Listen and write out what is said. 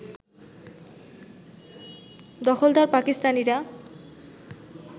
দখলদার পাকিস্তানিরা